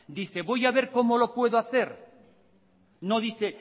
dice voy a ver cómo lo puedo hacer no dice